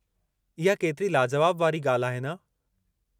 इहा केतिरी लाजुवाब वारी ॻाल्हि आहे न?